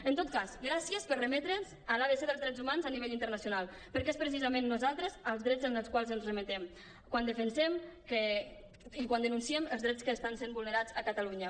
en tot cas gràcies per remetre’ns a l’abc dels drets humans a nivell internacional perquè és precisament nosaltres els drets als quals ens remetem quan defensem i quan denunciem els drets que estan sent vulnerats a catalunya